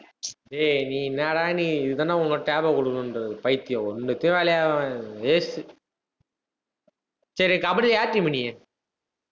டேய், நீ என்னாடா நீ? இதுதான உனக்கு tab அ குடுக்கணும்ன்றது. பைத்தியம் waste சேரி கபடி யார் team நீ